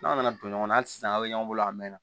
N'a nana don ɲɔgɔnna hali sisan aw bɛ ɲɔgɔn bolo a mɛn na